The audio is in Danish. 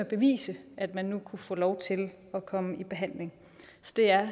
bevise at man kunne få lov til at komme i behandling det er